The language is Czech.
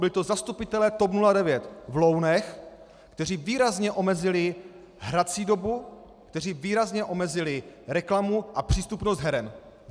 Byli to zastupitelé TOP 09 v Lounech, kteří výrazně omezili hrací dobu, kteří výrazně omezili reklamu a přístupnost heren.